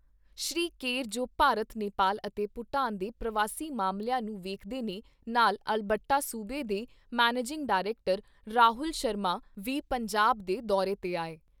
ਸ੍ਰੀ Kerr ਜੋ ਭਾਰਤ, ਨੇਪਾਲ ਅਤੇ ਭੂਟਾਨ ਦੇ ਪ੍ਰਵਾਸੀ ਮਾਮਲਿਆਂ ਨੂੰ ਵੇਖਦੇ ਨੇ ਨਾਲ ਅਲਬਰਟਾ ਸੂਬੇ ਦੇ ਮੈਨੇਜਿੰਗ ਡਾਇਰੈਕਟਰ ਰਾਹੁਲ ਸ਼ਰਮਾ ਦੀ ਪੰਜਾਬ ਦੇ ਦੌਰੇ ਤੇ ਆਏ।